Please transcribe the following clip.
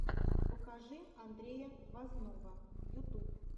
покажи андрея возного ютуб